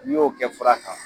N'i y'o kɛ fura kan